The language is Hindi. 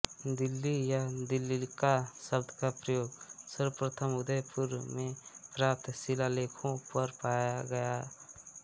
दिल्ली या दिल्लिका शब्द का प्रयोग सर्वप्रथम उदयपुर में प्राप्त शिलालेखों पर पाया गया